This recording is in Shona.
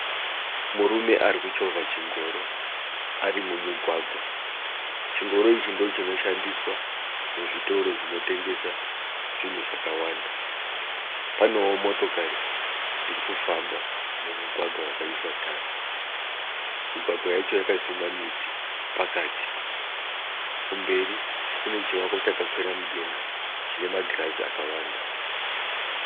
Murume ari kuchovha chingoro ari mumugwagwa. Chingoro ichi ndochinoshandiswa muzvitoro zvinotengesa zvinhu zvakawanda. Panewo motokari dzirikufamba mumugwagwa wakaiswa tara. Migwagwa yacho wakasimwa miti pakati. Kumberi kunechivako chakakwira mudenga chine magirazi akawanda.